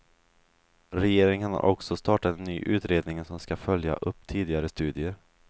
Regeringen har också startat en ny utredning som ska följa upp tidigare studier.